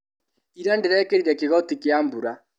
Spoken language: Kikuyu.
Ira ndĩrekĩrire kĩgoti kĩa mbura.